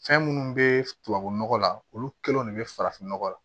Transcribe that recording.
Fɛn minnu bɛ tubabu nɔgɔ la olu kɛlenw de bɛ farafinnɔgɔ la